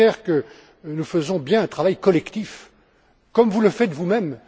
Becker que nous faisons bien un travail collectif comme vous le faites vous même.